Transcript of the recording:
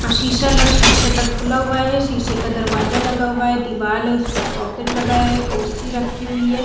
और शीशा ला सी शटर खुला हुआ है शीशे का दरवाजा लगा हुआ है दीवाल है उसपे सॉकेट लगाया है कुर्सी रखी हुई है।